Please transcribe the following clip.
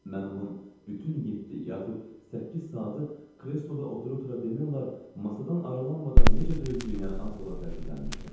Mən onun bütün yeddi yaxud səkkiz saatı kresloda otura-otura demək olar masadan aralanmadan necə dözdüyünə az qala təəccüblənmişdim.